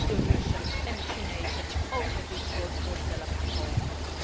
Wat als de Russen en de Chinezen ook met dit soort voorstellen gaan komen?